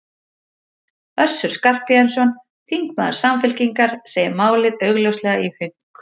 Össur Skarphéðinsson, þingmaður Samfylkingar, segir málið augljóslega í hönk.